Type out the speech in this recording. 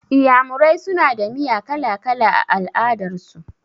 Iyamurai suna da miya kala-kala a al'adar su.